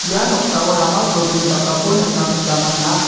ia noksao rama cholgni dakako nikna gita man·a.